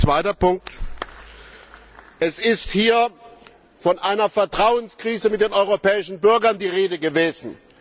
Zweiter Punkt Es ist hier von einer Vertrauenskrise der europäischen Bürger die Rede gewesen.